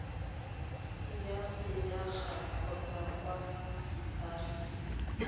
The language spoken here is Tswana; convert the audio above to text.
ya selegae kgotsa kwa embasing